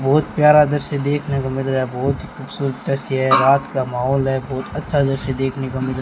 बहुत प्यारा दृश्य देखने को मिल रहा है बहुत खूबसूरत दृश्य है रात का माहोल है बहुत अच्छा दृश्य देखने को मिल --